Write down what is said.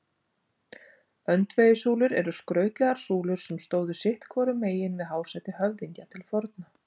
Öndvegissúlur eru skrautlegar súlur sem stóðu sitt hvorum megin við hásæti höfðingja til forna.